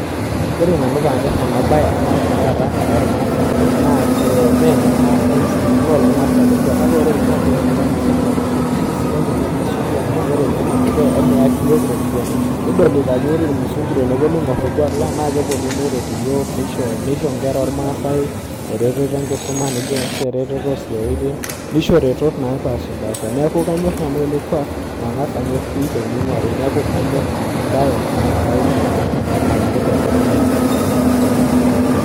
Ore nanu paanyorr ena bae anaa tenkata ara ormaasani, naa me enoormaasai ele kuuak kake kore orkuaak Lang APA musana naa kisidai ake nesuji amu emeyaki iyiook iropiyani, kadolita ajo kore irmusungu tenepuonu aigorr orkuaak lang naa kepuonu neret iyiook nisho inkera oormasai eretoto enkisuma, eretoto ooh siaaitin , nisho iretot napaashipasha, neeku kanyorr nanu ele kuuak, mangaz anyorr pii tenigwari neeku kanyorr ena bae naa kaibug aibungaki poki tungani onyok aas.